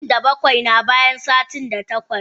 Sitin da bakwai ya bayan sitin da takwas.